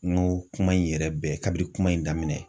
N ko kuma in yɛrɛ bɛɛ, kabiri kuma in daminɛ.